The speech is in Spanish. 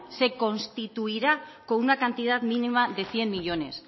se constituirá con una cantidad mínima de cien millónes